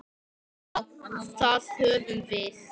Já, það höfum við.